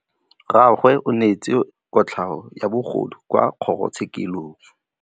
Rragwe o neetswe kotlhaô ya bogodu kwa kgoro tshêkêlông.